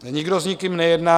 Nikdo s nikým nejedná.